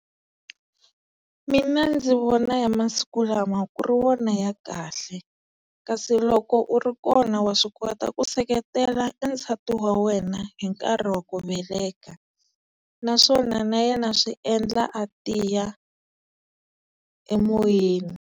Mina ndzi vona ya masiku lama ku ri wona ya kahle kasi loko u ri kona wa swi kota ku seketela e nsati wa wena hi nkarhi wa ku veleka naswona na yena swi endla a tiya emoyeni.